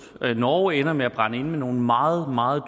norge ender med at brænde inde med nogle meget meget